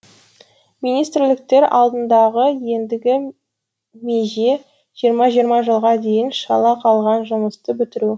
министрліктер алдындағы ендігі меже жиырма жиырма жылға дейін шала қалған жұмысты бітіру